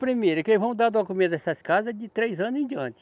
Primeiro, que eles vão dar documento dessas casas de três anos em diante.